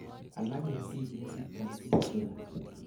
alak en biik kesigtoi fistula